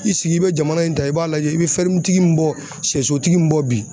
I sigi i bɛ jamana in ta i b'a lajɛ i bɛ tigi min bɔ sɛsotigi min bɔ bi